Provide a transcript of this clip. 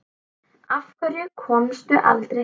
Af hverju komstu aldrei heim?